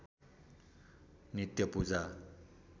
नित्य पूजा